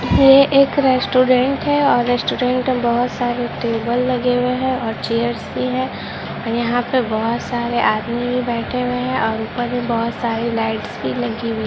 यह एक रेस्टोरेंट है और रेस्टोरेंट में बहुत सारे टेबल लगे हुए है और चेयर्स भी है और यहाँ पे बहुत सारे आदमी भी बैठे हुए है और ऊपर में बहुत सारी लाइट्स भी लगी हुई है।